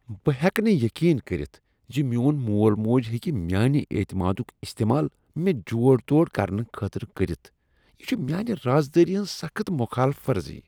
بہٕ ہیٚکہٕ نہٕ یقین کٔرتھ زِ میون مول موج ہیکِہ میانِہ اعتمادک استعمال مےٚ جوڑ توڑ کرنہٕ خٲطرٕ کٔرتھ۔ یہ چھ میانہ راز دٲری ہنز سخت خلاف ورزی۔